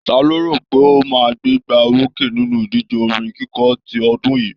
Ta lo rò pé ó máa gbégbá orókè nínú ìdíje orin kíkọ ti ọdún yìí?